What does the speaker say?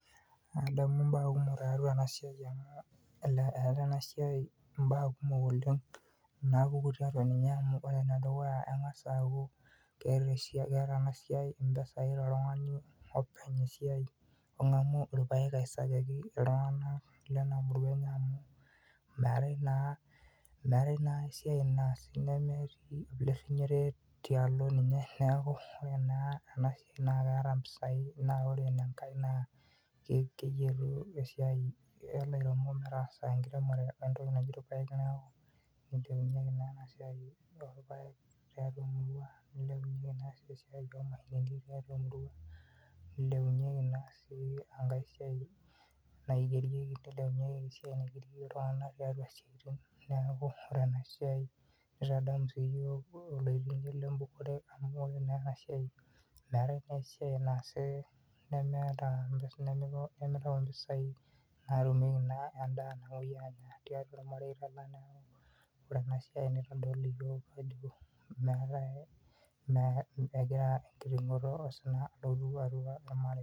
Adamu mbaa kumok tiaatua ena siaai amuu etaa enasiai mbaa kumok oleng naakutik ore ene dekuya kengas aaku keeta ena siaai mpisai to oltung'ani ong'amu irpaek Lena murua aisajaki iltung'ana amuu meetae naa ai siaai naasi neme naake olerrinyore tiaalo ninye neeku naa ore ena siaai naa keeta mpisai naa ore enkae naa keyietu esiaai enkiremore amuu keeku kiremisho lairemok nelonari esiaai oo rpaek tiaatua emurua nilepunyeki enkae siaai naigerieki iltung'ana tiaatua isiaitin ore ena siaai nitodol iyiook ajo eewuo enkitingoto osina amuu etoponayie isaaitin oo ropiyiani.